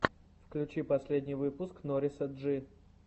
включи последний выпуск нориса джи